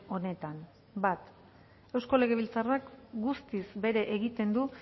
honetan bat eusko legebiltzarrak guztiz bere egiten du